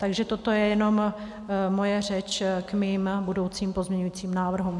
Takže toto je jenom moje řeč k mým budoucím pozměňujícím návrhům.